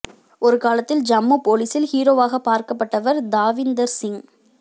ஒரு காலத்தில் ஜம்மு போலீஸில் ஹீரோவாக பார்க்கப்பட்டவர் தாவீந்தர் சிங்